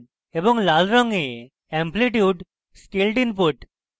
লাল রঙে amplitude scaled input